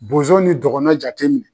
Bozo ni dɔgɔno jatem